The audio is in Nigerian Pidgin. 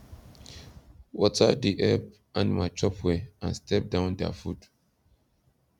water da help animal chop well and step down da food